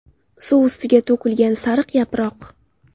Suv ustiga to‘kilgan sariq yaproq.